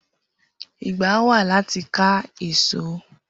Igbà wà làtí kà ésó